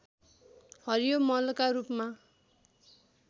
हरियो मलका रूपमा